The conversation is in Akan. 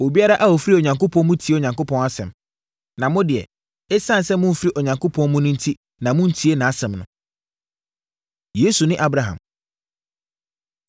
Obiara a ɔfiri Onyankopɔn mu no tie Onyankopɔn asɛm. Na mo deɛ, ɛsiane sɛ momfiri Onyankopɔn mu no enti na montie nʼasɛm no.” Yesu Ne Abraham